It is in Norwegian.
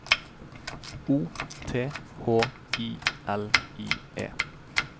O T H I L I E